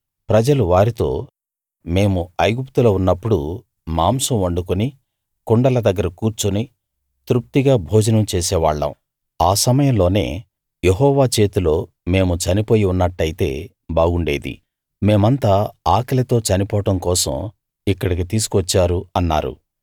ప్రజలు వారితో మేము ఐగుప్తులో ఉన్నప్పుడు మాంసం వండుకుని కుండల దగ్గర కూర్చుని తృప్తిగా భోజనం చేసేవాళ్ళం ఆ సమయంలోనే యెహోవా చేతిలో మేము చనిపోయి ఉన్నట్టయితే బాగుండేది మేమంతా ఆకలితో చనిపోవడం కోసం ఇక్కడికి తీసుకు వచ్చారు అన్నారు